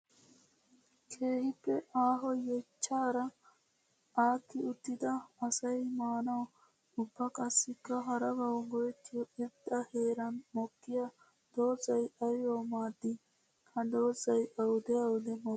Keehippe aaho yeechchara aakki uttidda asay maanawu ubba qassikka harabawu go'ettiyo irxxa heeran mokkiya doozay aybbawu maadi? Ha doozay awudde awudde mokki?